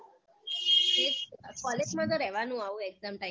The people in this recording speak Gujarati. એ જ તો college માં તો રેવાનું આવું exam time માં